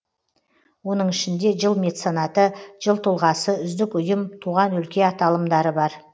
оның ішінде жыл меценаты жыл тұлғасы үздік ұйым туған өлке аталымдары бар